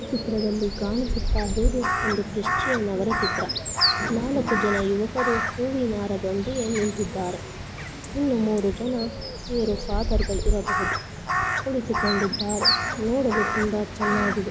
ಈ ಚಿತ್ರದಲ್ಲಿ ಕಾಣಿಸ್ತಾ ಇರೋದು ಒಂದು ಕ್ರಿಶ್ಚಿಯನ್ ಚಿತ್ರ ನಾಲಕ್ಕು ಜನ ಯುವಕರು ಹೂವಿನ ಹಾರದೊಂದಿಗೆ ನಿಂತಿದ್ದಾರೆ ಇನ್ನೂ ಮೂರು ಜನ ಇವರು ಫಾದರ್ ಗಳು ಇರಬಹುದು ಕುಳಿತು ಕೊಂಡಿದ್ದಾರೆ ನೋಡಲು ತುಂಬಾ ಚೆನ್ನಾಗಿದೆ.